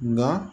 Nka